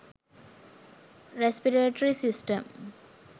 respiratory system